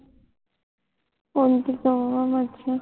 ਪੰਜ